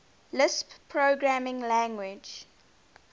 lisp programming language